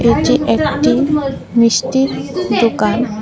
এটি একটি মিষ্টির দোকান।